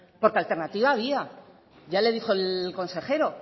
porque alternativa había ya le dijo el consejero